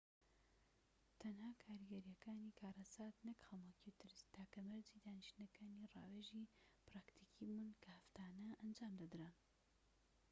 تەنها کاریگەریەکانی کارەسات نەك خەمۆکی و ترس تاکە مەرجی دانیشتنەکانی ڕاوێژی پراکتیکی بوون کە هەفتانە ئەنجامدەدران